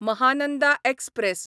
Mahananda express